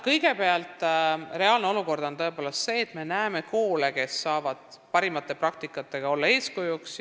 Kõigepealt, reaalne olukord on tõepoolest selline, et praegu on koole, kes saavad oma parimate kogemustega olla eeskujuks.